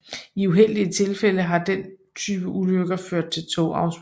I uheldige tilfælde har den type ulykker ført til togafsporing